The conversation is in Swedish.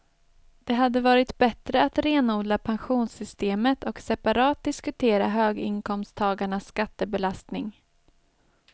Det hade varit bättre att renodla pensionssystemet och separat diskutera höginkomsttagarnas skattebelastning.